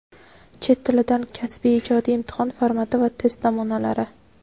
Chet tilidan kasbiy (ijodiy) imtihon formati va test namunalari.